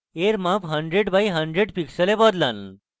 এর মাপ 100 × 100 pixels বদলান